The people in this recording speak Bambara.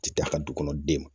Ti taa a ka du kɔnɔ den ma